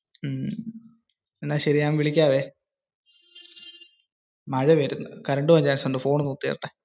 എന്ന ശെരി. ഞാൻ വിളിക്കവേ. മഴ പെയ്യുന്നു. കറന്റ് പോകാൻ ചാൻസ് ഉണ്ട്. ഫോൺ ഒന്നു കുത്തി വെക്കട്ടെ.